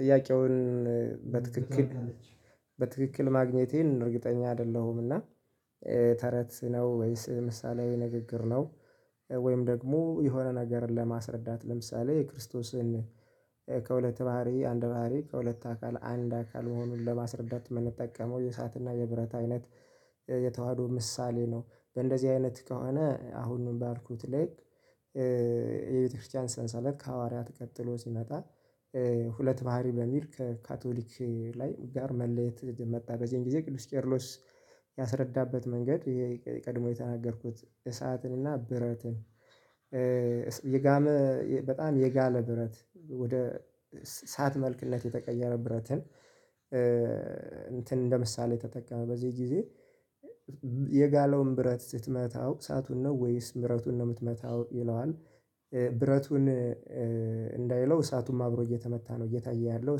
ጥያቄውን በትክክል በትክክል ማግኘቴን እርግጠኛ አይደለሁምና ተረት ነው ወይስ ምሳሌያዊ ንግግር ነው? ወይም ደግሞ የሆነ ነገርን ለማስረዳት ለምሳሌ የክርስቶስን ከሁለት ባህሪ አንድ ባህሪ ከሁለት አካል አንድ አካል መሆኑን ለማስረዳት የምንጠቀመው የእሳትና የብረት አይነት የተዋህዶ ምሳሌ ነው። በእንደዚህ አይነት ከሆነ አሁን ባልኩት ልክ የቤተክርስቲያን ሰንሰለት ከሐዋርያት ቀጥሎ ሲመጣ። ሁለት ባህሪ በሚል ከካቶሊክ ላይ ጋር መለየት መጣ በዚህን ጊዜ ቅዱስ ቄርሎስ ያስረዳበት መንገድ ይሄ ቀድሞ የተናገርኩት እሳትን እና ብረትን። የጋመ በጣም የጋለ ብረት ወደ ሳት መልክነት የተቀየረ ብረትን እንትን እንደ ምሳሌ ተጠቀመ በዚህ ጊዜ። የጋለውን ብረት ስትመታው ሰአቱን ነው ወይስ ምህረቱን ነው የምትመታው ይለዋል? ብረቱን እንዳይለው እሳቱም አብሮ እየተመታ ነው እየታየ ያለው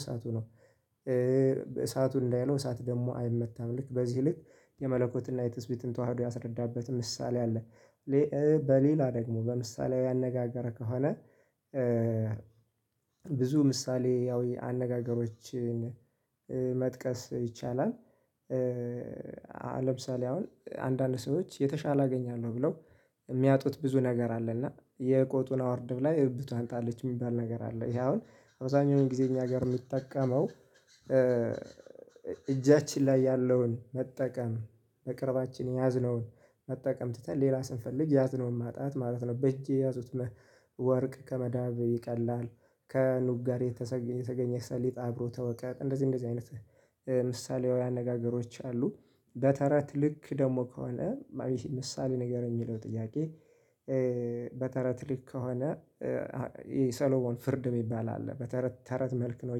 እሳቱ ነው። እሳቱ እንዳይለው እሳት ደግሞ አይመታም ልክ በዚህ ልክ የመለኮትና የትስቢትን ተዋህዶ ያስረዳበት ምሳሌ አለ። በሌላ ደግሞ በምሳሌያዊ አነጋገረ ከሆነ ብዙ ምሳሌያዊ አነጋገሮችን መጥቀስ ይቻላል። ለምሳሌ አሁን አንዳንድ ሰዎች የተሻለ አገኛለሁ ብለው የሚያጡት ብዙ ነገር አለና የቆጡን አወርድ ብላ የብብቷን ጣለች የሚባል ነገር አለ ይሄ አሁን አብዛኛው ጊዜ እኛ ጋር የምንጠቀመው እጃችን ላይ ያለውን መጠቀም በቅርባችን የያዝነውን መጠቀም ትተን ሌላ ስንፈልግ የያዝነውን ማጣት ማለት ነው። በእጄ ያዙት ወርቅ ከመዳብ ይቀላል ከኑግ ጋር የተገኘ ሰሊጣ አብሮ ተወቀጥ እንደዚህ እንደዚህ አይነት ምሳሌያዊ አነጋገሮች አሉ። በተረት ልክ ደግሞ ከሆነ ምሳሌ ንገረኝ የሚለው ጥያቄ? በተረት ልክ ከሆነ የሰሎሞን ፍርድ የሚባል አለ በተረት ተረት መልክ ነው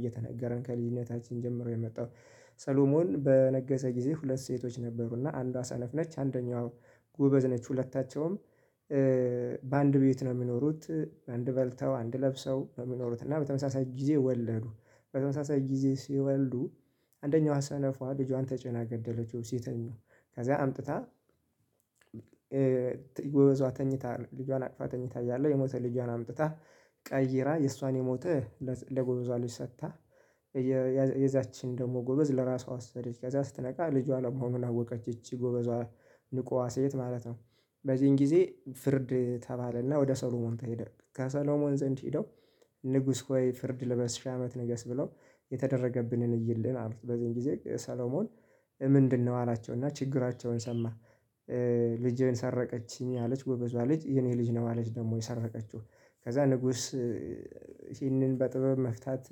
እየተነገረን ከልጅነታችን ጀምሮ የመጣው። ሰሎሞን በነገሰ ጊዜ ሁለት ሴቶች ነበሩና አንዷ ሰነፍ ነች አንደኛዋ ጎበዝ ነች። ሁለታቸውም በአንድ ቤት ነው የሚኖሩት አንድ በልተው አንድ ለብሰው የሚኖሩት እና በተመሳሳይ ጊዜ ወለዱ። በተመሳሳይ ጊዜ ሲወልዱ አንደኛው ሰነፏ ልጇን ተጭና ገደለችው ሴትኛው ከዛ አምጥታ ጎበዟ ተኝታ ልጇን አቅፋ ተኝታ እያለሁ የሞተ ልጇን አምጥታ ቀይራ የእሷን የሞተ ለጎበዟ ልጅ ሰጥታ የዛችን ደግሞ ጎበዝ ለራሷ ወሰደች ከዛ ስትነቃ ልጇን አለመሆኑን አወቀች ይቺ ጎበዟ ንቋዋ ሴት ማለት ነው። በዚህን ጊዜ ፍርድ ተባለና ወደ ሰሎሞን ተሄደ ከሰሎሞን ዘንድ ሄደው ንጉስ ሆይ ፍርድ ለበስ ሽ አመት ንገስ ብለው የተደረገብንን እይልን አሉት በዚህም ጊዜ ሰሎሞን ምንድነው አላቸው እና ችግራቸውን ሰማ። ልጄን ሰረቀችኝ አለች ጎበዟ ልጅ የኔ ልጅ ነው። አለች ደግሞ የሰረቀችው ከዛ ንጉስ ይህንን በጥበብ መፍታት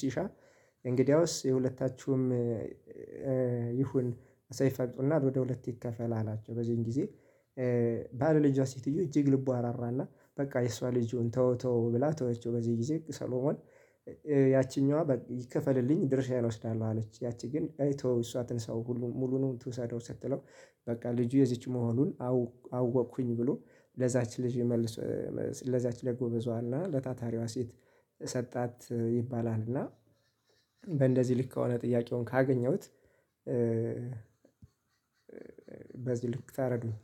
ሲሻ የእንግዲያውስ የሁለታችሁም ይሁን ሰይፍ አምጡና ወደ ሁለት ይከፈል አላቸው። በዚህን ጊዜ ባለልጇ ሲቲዮ እጅግ ልቡ እራራና በቃ የእሷ ልጁን ተው ተው ብላ ተውችው በዚህ ጊዜ ሰሎሞን ያቺኛዋ ይከፈልልኝ ድርሻዬን እወስዳለሁ አለች። ያቺ ግን አይ ተወው እሷ ትንሳው ሙሉንም ትውሰደው ሰጥተው በቃ ልጁ የዚች መሆኑን አወቅኩኝ ብሎ ለዛች ልጅ መልስ ለዛች ለጎበዟ ለታታሪዋ ሴት ሰጣት ይባላልና። እና በእንደዚህ ልክ ከሆነ ጥያቄውን ካገኘሁት በዚህ ልክ ታረዱኝ